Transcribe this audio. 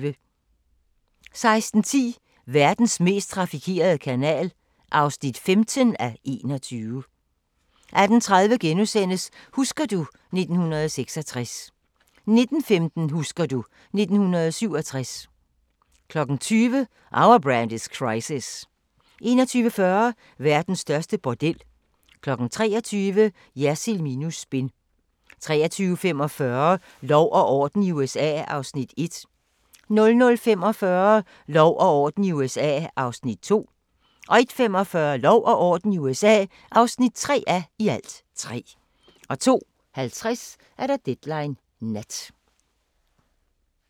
16:10: Verdens mest trafikerede kanal (15:21) 18:30: Husker du ... 1966 * 19:15: Husker du ... 1967 20:00: Our Brand Is Crisis 21:40: Verdens største bordel 23:00: Jersild minus spin 23:45: Lov og orden i USA (1:3) 00:45: Lov og orden i USA (2:3) 01:45: Lov og orden i USA (3:3) 02:50: Deadline Nat